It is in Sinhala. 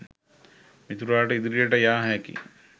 මිතුරාට ඉදිරියට යා හැකි